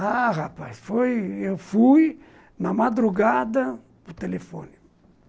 Ah, rapaz, foi eu fui na madrugada para o telefone.